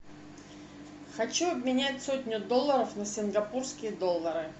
хочу обменять сотню долларов на сингапурские доллары